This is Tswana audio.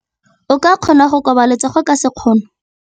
O ka kgona go koba letsogo ka sekgono.